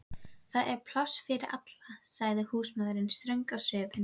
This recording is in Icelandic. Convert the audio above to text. Það er pláss fyrir alla, sagði húsmóðirin ströng á svipinn.